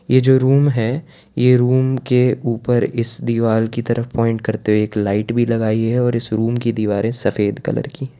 ये जो रूम है ये रूम के ऊपर इस दीवार की तरफ पॉइंट करते हुए एक लाइट भी लगाइ है और इस रूम की दीवारें सफेद कलर की है।